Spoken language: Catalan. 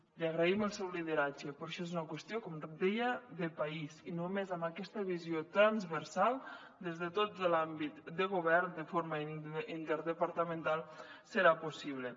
li agraïm el seu lideratge però això és una qüestió com deia de país i només amb aquesta visió transversal des de tot l’àmbit de govern de forma interdepartamental serà possible